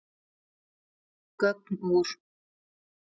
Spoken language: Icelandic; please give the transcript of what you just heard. Gögn úr